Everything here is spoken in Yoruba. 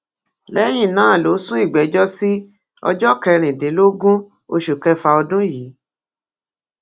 lẹyìn náà ló sún ìgbẹjọ sí ọjọ kẹrìndínlógún oṣù kẹfà ọdún yìí